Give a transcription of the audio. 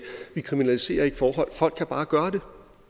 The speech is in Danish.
vi kriminaliserer ikke forhold folk kan bare gøre det